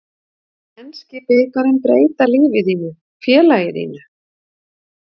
Mun enski bikarinn breyta lífi þínu, félaginu þínu?